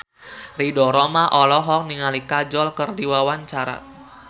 Ridho Roma olohok ningali Kajol keur diwawancara